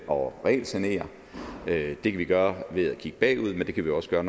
og regelsanere det kan vi gøre ved at kigge bagud men det kan vi også gøre